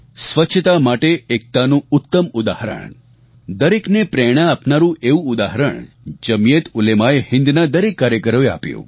સ્વચ્છતા માટે એકતાનું ઉત્તમ ઉદાહરણ દરેકને પ્રેરણા આપનારું એવું ઉદાહરણ જમિયતઉલેમાએહિંદના દરેક કાર્યકરોએ આપ્યું